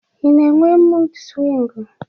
I na-enwe mud swingu?